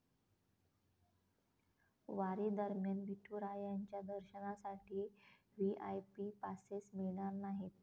वारीदरम्यान विठुरायांच्या दर्शनासाठी VIP passes मिळणार नाहीत!